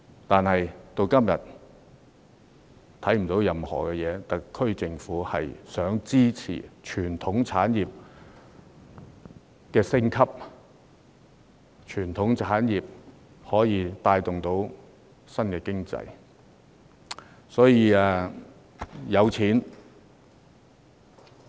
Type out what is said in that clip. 但是，至今也看不到特區政府提出任何政策，支持傳統產業升級，以帶動經濟發展。